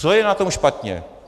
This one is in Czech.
Co je na tom špatně?